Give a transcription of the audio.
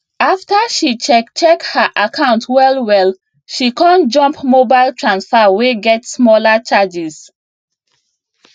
after she check check her account wellwell she con jump mobile transfer wey get smaller charges